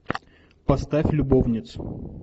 поставь любовниц